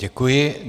Děkuji.